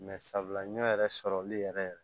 Mɛ sabula ɲɔ yɛrɛ sɔrɔli yɛrɛ yɛrɛ